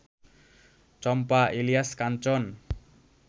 চম্পা, Ilias কাঞ্চন